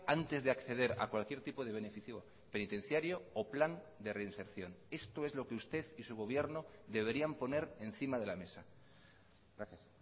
antes de acceder a cualquier tipo de beneficio penitenciario o plan de reinserción esto es lo que usted y su gobierno deberían poner encima de la mesa gracias